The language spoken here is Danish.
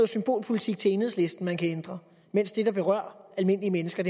symbolpolitik til enhedslisten man kan ændre mens det der berører almindelige mennesker